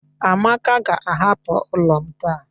Amaka ga-ahapụ ụlọ m taa.